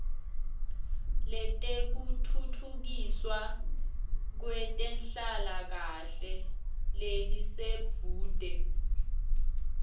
letekutfutfukiswa kwetenhlalakahle lelisedvute